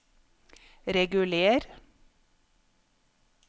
reguler